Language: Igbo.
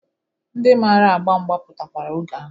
Ndị mara agba mgba pụtakwara oge ahụ.